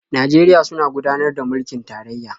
Najeriya suna gudanar da mulkin tarayya.